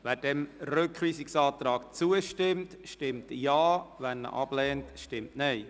Wer dem Rückweisungsantrag zustimmt, stimmt Ja, wer diesen ablehnt, stimmt Nein.